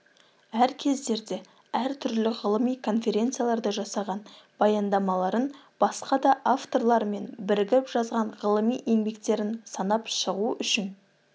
әр кездерде әр түрлі ғылыми конфренцияларда жасаған баяндамаларын басқа да авторлармен бірігіп жазған ғылыми еңбектерін санап шығу үшін